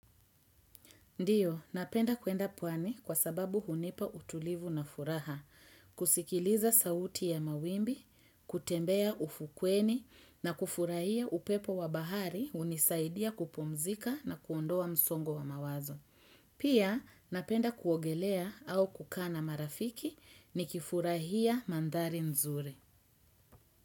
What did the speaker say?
Ndio, napenda kwenda pwani kwa sababu hunipa utulivu na furaha, kusikiliza sauti ya mawimbi, kutembea ufukweni na kufurahia upepo wa bahari unisaidia kupumzika na kuondoa msongo wa mawazo. Pia, napenda kuogelea au kukaa na marafiki ni kifurahia mandari nzuri.